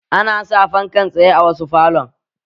Ana sa fankan tsaye a wasu falon